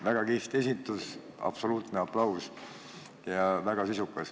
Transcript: Väga kihvt esitus, absoluutne aplaus, ja väga sisukas.